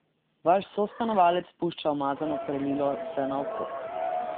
Vaš sostanovalec pušča umazano perilo vsenaokrog.